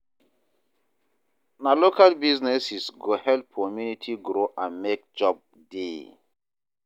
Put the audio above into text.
Na local businesses go help community grow and mek job dey.